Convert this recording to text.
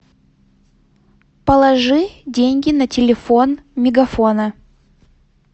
положи деньги на телефон мегафона